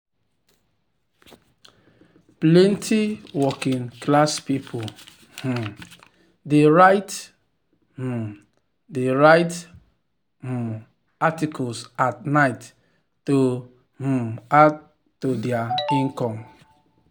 plenty working-class people um dey write um dey write um articles at night to um add to their income.